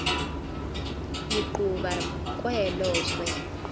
licuba kwelo zwe